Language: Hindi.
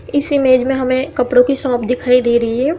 इस इमेज में हमे कपड़ो भी शॉप दिखाई दे रही हैं।